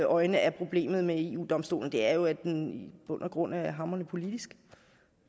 øjne er problemet med eu domstolen er jo at den i bund og grund er hamrende politisk